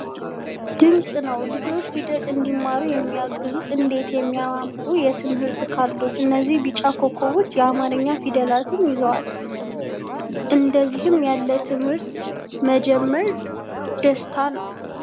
ድንቅ ነው! ልጆች ፊደል እንዲማሩ የሚያግዙ እንዴት የሚያምሩ የትምህርት ካርዶች! እነዚህ ቢጫ ኮከቦች የአማርኛ ፊደላትን ይዘዋል! እንዲህ ያለ ትምህርት መጀመር ደስታ ነው!